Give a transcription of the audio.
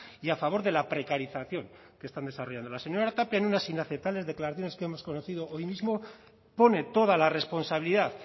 y a favor de la precarización que están desarrollando la señora tapia en unas inaceptables declaraciones que hemos conocido hoy mismo pone toda la responsabilidad